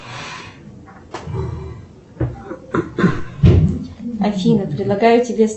афина предлагаю тебе